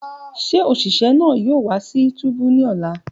Ṣe oṣiṣẹ naa yoo wa si túbú ni ọla?